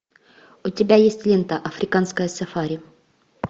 у тебя есть лента африканское сафари